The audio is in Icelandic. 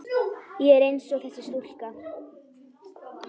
Ég er einsog þessi stúlka.